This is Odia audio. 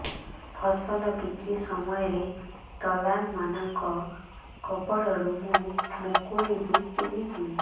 ଫସଲ ବିକ୍ରୀ ସମୟରେ ଦଲାଲ୍ ମାନଙ୍କ କବଳରୁ ମୁଁ ମୁକୁଳିଵି କେମିତି